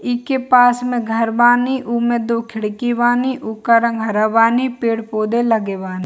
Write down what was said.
इके पास में घर बानी उमे दो खिड़की बानी उका रंग हरा बानी पेड़-पौधे लगे बानी।